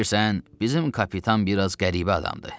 Bilirsən, bizim kapitan biraz qəribə adamdır.